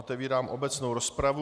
Otevírám obecnou rozpravu.